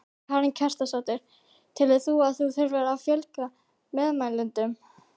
Karen Kjartansdóttir: Telur þú að það þurfi að fjölga meðmælendum?